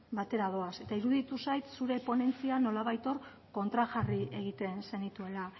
batera doaz eta iruditu zait zure ponentzian nolabait hor kontrajarri egiten zenituela